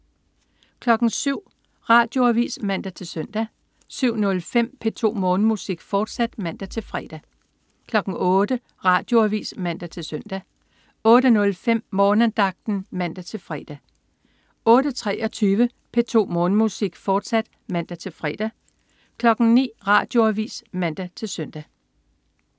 07.00 Radioavis (man-søn) 07.05 P2 Morgenmusik, fortsat (man-fre) 08.00 Radioavis (man-søn) 08.05 Morgenandagten (man-fre) 08.23 P2 Morgenmusik, fortsat (man-fre) 09.00 Radioavis (man-søn)